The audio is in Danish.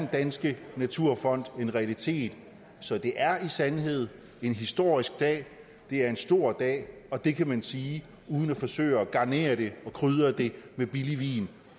danske naturfond en realitet så det er i sandhed en historisk dag det er en stor dag og det kan man sige uden at forsøge at garnere det og krydre det med billig vin